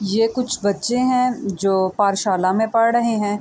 یہ کچھ بچھے ہے جو پاتھشالا مے پڑھ رہے ہے۔